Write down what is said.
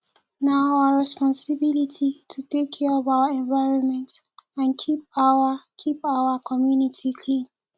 na our responsibility to take care of our environment and keep our keep our community clean